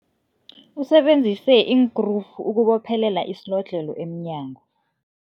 Usebenzise iinkrufu ukubophelela isilodlhelo emnyango.